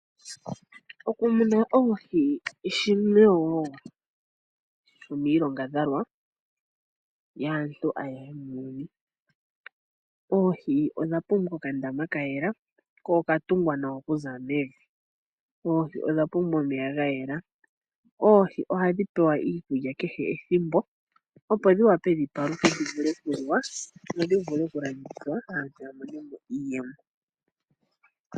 Oku muna oohi shimwe woo shomiinyangadhalwa yaantu ayehe muuyuni. Oohi odha pumbwa okandama kayela, ko okatungwa nawa okuza mevi. Oohi odha pumbwa omeya gayela, oohi ohadhi pewa iikulya kehe ethimbo opo dhi wape dhipaluke, dhi vule okuliwa, dho dhi vule okulandithwa aantu yamone mo iiyemo.